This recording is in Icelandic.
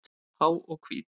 Há og hvít.